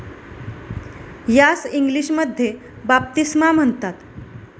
यास इंग्लिशमध्ये बाप्तिस्मा म्हणतात.